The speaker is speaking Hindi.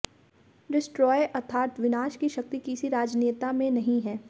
डिस्ट्राय अर्थात विनाश की शक्ति किसी राजनेता में नहीं है